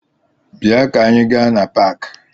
Bịa ka anị gaa na paakị!